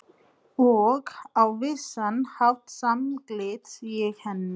Og á vissan hátt samgleðst ég henni.